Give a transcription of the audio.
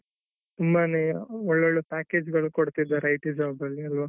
ತುಂಬಾನೇ ಒಳ್ಳೊಳ್ಳೇ package ಗಳು ಕೊಡ್ತಿದಾರೆ IT job ಅಲ್ಲಿ ಅಲ್ವ .